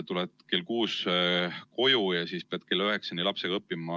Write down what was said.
Tuled kell kuus koju ja siis pead kella üheksani lapsega õppima.